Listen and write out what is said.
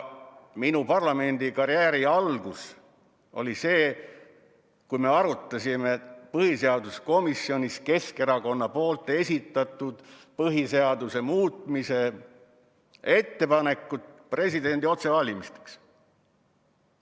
Minu parlamendikarjääri algus oli siis, kui me arutasime põhiseaduskomisjonis Keskerakonna esitatud põhiseaduse muutmise ettepanekut presidendi otsevalimise kohta.